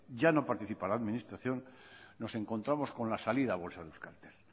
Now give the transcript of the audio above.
ya no participa en la administración nos encontramos con la salida a bolsa de euskaltel